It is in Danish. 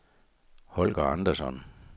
Holger Andersson